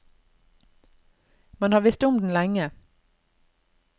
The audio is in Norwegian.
Man har visst om den lenge.